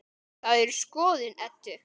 Það er skoðun Eddu.